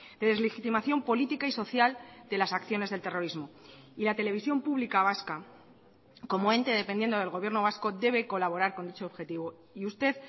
de deslegitimación política y social de las acciones del terrorismo y la televisión pública vasca como ente dependiendo del gobierno vasco debe colaborar con dicho objetivo y usted